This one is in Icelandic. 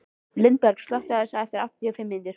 Lindberg, slökktu á þessu eftir áttatíu og fimm mínútur.